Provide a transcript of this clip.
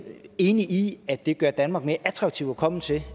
enige i at det gør danmark mere attraktivt at komme til